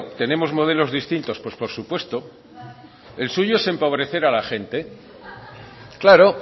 tenemos modelos distintos pues por supuesto el suyo es empobrecer a la gente claro